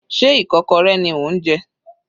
Sé ikokorẹ ni ò ń jẹ?